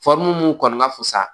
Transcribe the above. mun kɔni ka fusa